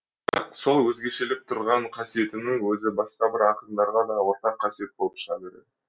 бірақ сол өзгешелеп тұрған қасиетінің өзі бақса бір ақындарға да ортақ қасиет болып шыға береді